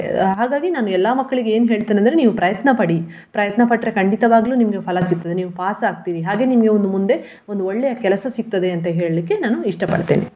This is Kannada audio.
ಹಾಗಾಗಿ ನಾನ್ ಎಲ್ಲಾ ಮಕ್ಳಿಗೆ ಏನ್ ಹೇಳ್ತೇನೆ ಅಂದ್ರೆ ನೀವು ಪ್ರಯತ್ನಪಡಿ ಪ್ರಯತ್ನಪಟ್ಟರೆ ಖಂಡಿತವಾಗ್ಲು ನಿಮಗೆ ಫಲ ಸಿಕ್ತದೆ ನೀವು pass ಆಗ್ತೀರಿ. ಹಾಗೆ ನಿಮ್ಗೆ ಒಂದು ಮುಂದೆ ಒಂದು ಒಳ್ಳೆಯ ಕೆಲಸ ಸಿಕ್ತದೆ ಅಂತ ಹೇಳಲಿಕ್ಕೆ ನಾನು ಇಷ್ಟ ಪಡ್ತೇನೆ.